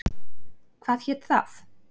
Hvað hét það?